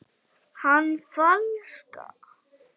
Er hann flaska?